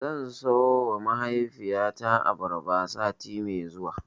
Zan siyowa mahaifiyata abarba sati mai zuwa.